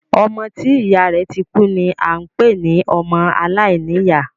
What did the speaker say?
Ọmọ tí ìyá rẹ̀ ti kú ni a ń pé ní ọmọ aláìníyá.